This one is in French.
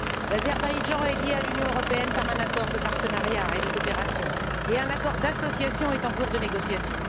L'Azerbaïdjan est lié à l'Union européenne par un accord de partenariat et de coopération et un accord d'association est en cours de négociation.